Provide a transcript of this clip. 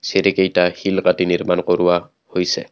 চিৰিকেইটা শিল কাটি নিৰ্মাণ কৰোৱা হৈছে।